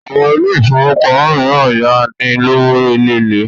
Àwọn ilé ifówópamọ́ míràn ń yá ni lówó eléèlé